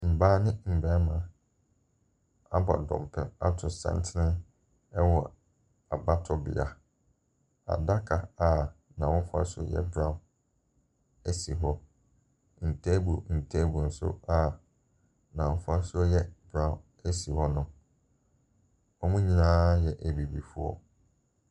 Mmaa ne mmari abɔ dɔmpem ato santene wɔ abatowbea. Adaka n'ahofasu yɛ brown si hɔ. Ntable ntable nso a n'afasuo brown si hɔnom. Wɔn nyinaa yɛ Abibifoɔ.